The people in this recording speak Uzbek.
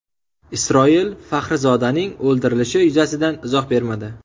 Isroil Faxrizodaning o‘ldirilishi yuzasidan izoh bermadi.